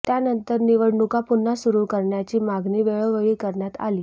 त्यानंतर निवडणुका पुन्हा सुरू करण्याची मागणी वेळोवेळी करण्यात आली